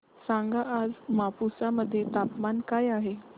सांगा आज मापुसा मध्ये तापमान काय आहे